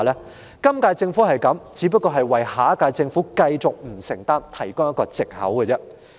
如果今屆政府也如是，就是為下屆政府可以繼續不承擔提供一個藉口。